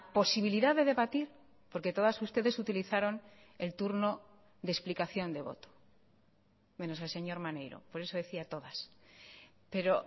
posibilidad de debatir porque todas ustedes utilizaron el turno de explicación de voto menos el señor maneiro por eso decía todas pero